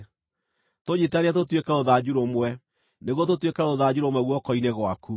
Tũnyiitithanie tũtuĩke rũthanju rũmwe nĩguo tũtuĩke rũthanju rũmwe guoko-inĩ gwaku.